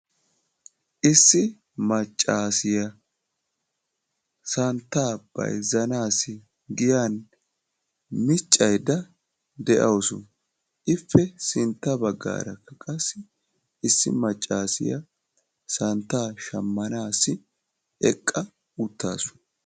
Issi maccaasiya santtaa bayizzanasi giyan miccayda de'awus; ippe sintta baggaara qassi issi maccaasiya santtaa shamanaw eqqa uttaasu.